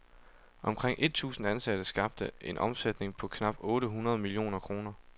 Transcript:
Omkring et tusind ansatte skabte en omsætning på knap otte hundrede millioner kroner.